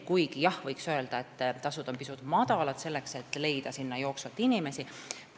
Kuigi jah, võib öelda, et tasud on pisut madalad: jooksvalt on raske inimesi leida.